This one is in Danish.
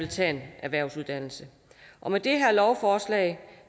tage en erhvervsuddannelse og med det her lovforslag